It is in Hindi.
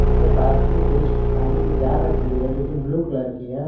उसके पास में कुछ पानी के जार रखे हुए हैं जो की ब्लू कलर की है।